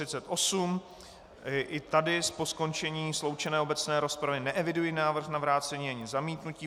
I tady po skončení sloučené obecné rozpravy neeviduji návrh na vrácení ani zamítnutí.